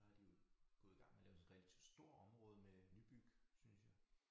Der har de jo gået i gang med at lave sådan relativt stort område med nybyg synes jeg